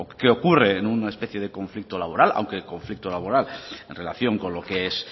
que ocurre en una especie de conflicto laboral aunque el conflicto laboral en relación con lo que es